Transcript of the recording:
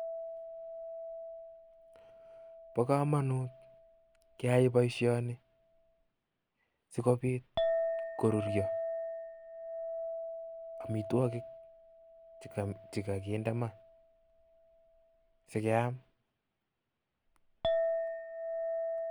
Bo komonut keyai boisioni sikobiit koruryo amitwogik che kaginde ma sikeyam.